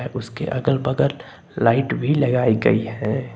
उसके अगल बगल लाइट भी लगाई गई है।